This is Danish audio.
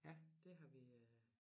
Ja det har vi øh